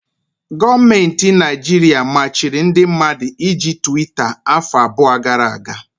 Gọọmenti Naịjirịa machiri ndị mmadụ iji Twita afọ abụọ gara aga.